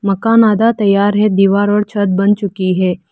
मकान आधा तैयार है दीवार और छत बन चुकी है।